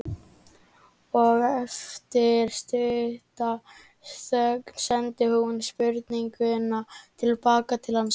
Og eftir stutta þögn sendi hún spurninguna til baka til hans.